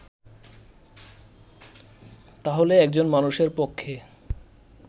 তাহলে একজন মানুষের পক্ষে